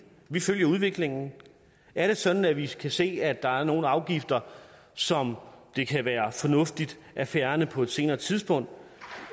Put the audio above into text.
vi følger udviklingen er det sådan at vi kan se at der er nogle afgifter som det kan være fornuftigt at fjerne på et senere tidspunkt